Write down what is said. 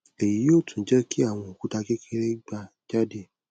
eyi yoo tun je ki awon okuta kekere gba jade